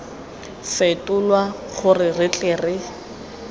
fetolwa gore re tle re